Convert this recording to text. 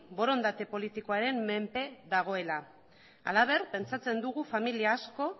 borondate politikoaren menpe dagoela halaber pentsatzen dugu familia asko